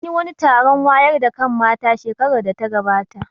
An yi wani taron wayar da kan mata shekarar da ta gabata